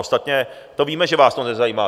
Ostatně to víme, že vás to nezajímá.